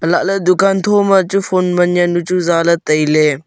ha lah ley dukan tha ma chu phone man jawnu chu za le tai ley.